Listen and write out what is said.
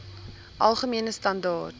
algemene standaar